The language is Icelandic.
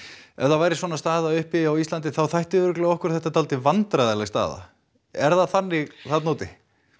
ef það væri svona staða uppi á Íslandi þá þætti örugglega okkur þetta dálítið vandræðaleg staða er það þannig þarna úti